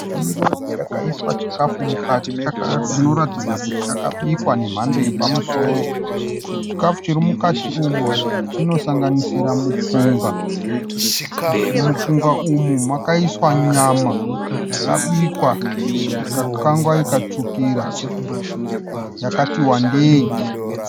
Ndiro yakaiswa chikafu mukati chinoratidza kuti chakabikwa nemhando yepamusoro. Chikafu chiri mukati umu chinosanganisira mupunga . Mumupunga umu makaiswa nyama yakabikwa ikakangwa ikatsvukira yakati wandei.